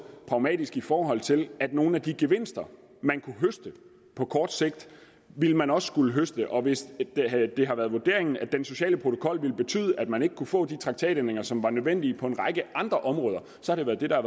pragmatisk i forhold til at nogle af de gevinster man kunne høste på kort sigt ville man også skulle høste og hvis det har været vurderingen at den sociale protokol ville betyde at man ikke kunne få de traktatændringer som var nødvendige på en række andre områder har det været det der